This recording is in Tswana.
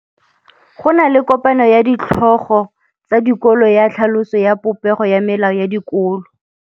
Go na le kopanô ya ditlhogo tsa dikolo ya tlhaloso ya popêgô ya melao ya dikolo.